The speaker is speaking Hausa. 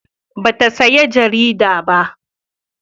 Ba ta saya jarida ba